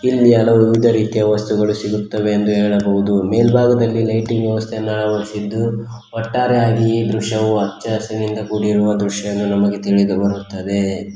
ಇಲ್ಲಿ ಹಲವು ವಿವಿಧ ರೀತಿಯ ವಸ್ತುಗಳು ಸಿಗುತ್ತವೆ ಎಂದು ಹೇಳಬಹುದು ಮೇಲ್ಭಾಗದಲ್ಲಿ ಲೈಟಿಂಗ್ ವ್ಯವಸ್ಥೆಯನ್ನು ಅಳವಡಿಸಿದ್ದು ಒಟ್ಟಾರೆಯಾಗಿ ಈ ದೃಶ್ಯವು ಹಚ್ಚಹಸಿರಿನಿಂದ ಕೂಡಿರುವ ದೃಶ್ಯ ಎಂದು ನಮಗೆ ತಿಳಿದುಬರುತ್ತದೆ.